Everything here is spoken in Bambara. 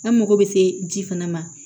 An mago bɛ se ji fana ma